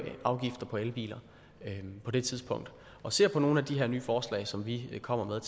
afgifter på elbiler på det tidspunkt og ser på nogle af de her nye forslag som vi kommer med